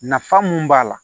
Nafa mun b'a la